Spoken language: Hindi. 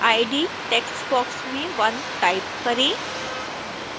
id टेक्स्ट बॉक्स में 1 टाइप करें